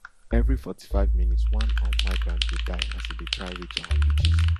every forty-five minutes one um migrant dey die as e dey try reach our beaches